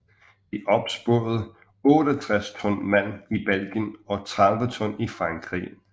De opsporede 68 ton malm i Belgien og 30 ton i Frankrig